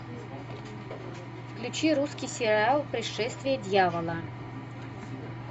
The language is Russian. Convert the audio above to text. включи русский сериал пришествие дьявола